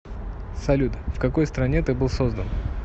салют в какой стране ты был создан